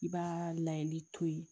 I b'aa layɛli to yen